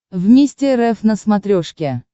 вместе рф на смотрешке